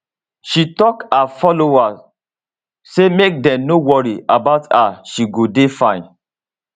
she tok her followers say make dem no worry about her she go dey fine